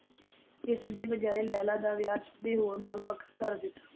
ਇਸਦੇ ਬਜਾਏ, ਲੈਲਾ ਦਾ ਵਿਆਹ ਕਿਸੇ ਹੋਰ ਨਾਲ ਪੱਕਾ ਕਰ ਦਿੱਤਾ।